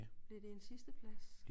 Blev det en sidste plads?